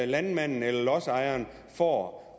landmand eller lodsejer får